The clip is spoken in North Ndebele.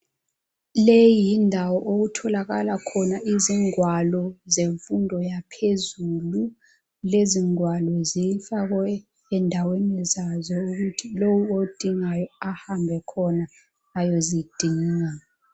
Leyi yindawo lapho okutholakala khona izingwalo zemfundo yaphezulu , lezingwalo zifakwe endaweni zazo ukuthi lo odingayo ahambe khona ayozidinga